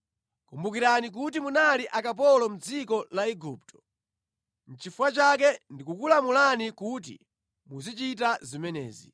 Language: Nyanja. Kumbukirani kuti munali akapolo mʼdziko la Igupto. Nʼchifukwa chake ndikukulamulani kuti muzichita zimenezi.